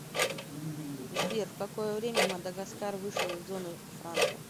сбер в какое время мадагаскар вышел из зоны франка